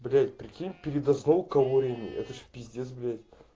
блять прикинь передохнул калориями это ж пиздец блять